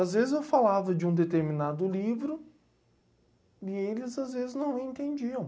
Às vezes eu falava de um determinado livro e eles às vezes não entendiam.